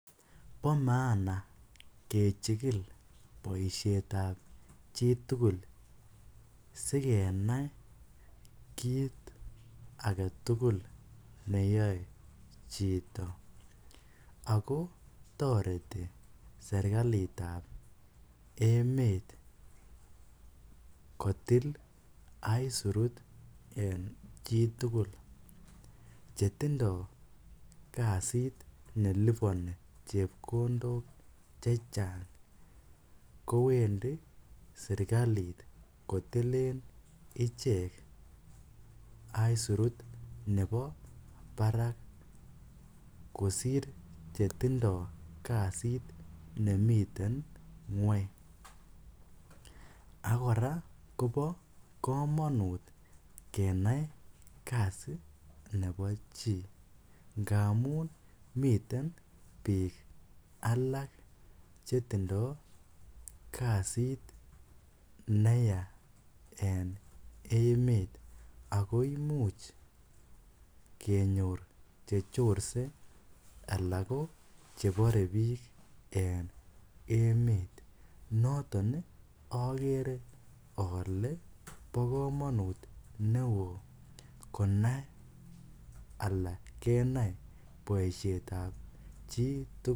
Bo maana kechikil boishetab chitugul sikenai kiit agetugul neyoei chito ako toreti serikalitab emet kotil isurut en chitugul chetindoi kasit neliponi chepkondok chechang' kowendi serikalit kotilen ichek isurut nebo barak kosir chetindoi kasit nemiten ng'weny akora kobo kamonut kenai kasi nebo chi ngaamun miten biik alak chetindoi kasit neya en emet ako imuuch kenyor chechosei alak ko bore biik en emet noton akere ale bo komonut neo konai ala kenai boishetab chitugul